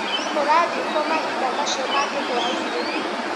ũrathĩi kũ mahinda macio mangĩ hwainĩ?